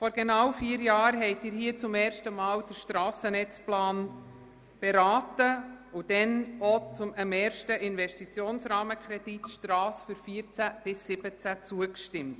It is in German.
Vor genau vier Jahren berieten Sie hier zum ersten Mal den Strassennetzplan und stimmten auch dem ersten Investitionsrahmenkredit Strasse 2014–2017 zu.